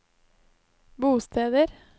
bosteder